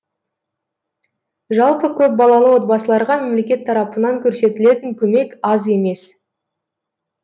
жалпы көпбалалы отбасыларға мемлекет тарапынан көрсетілетін көмек аз емес